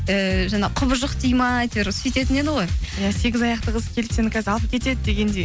ііі жаңа құбыжық дейді ме әйтеуір сөйтетін еді ғой иә сегіз аяқты қыз келді сені қазір алып кетеді дегендей